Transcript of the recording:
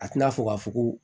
A tɛna fɔ ka fɔ ko